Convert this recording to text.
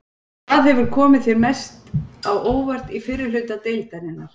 Hvað hefur komið þér mest á óvart í fyrri hluta deildarinnar?